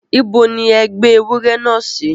Ibo ní ẹ gbé ewúrẹ́ náà sí?